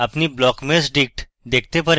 আপনি blockmeshdict দেখেন